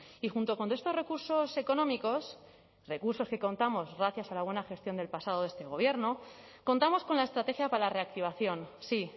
y junto con estos recursos económicos recursos que contamos gracias a la buena gestión del pasado de este gobierno contamos con la estrategia para la reactivación sí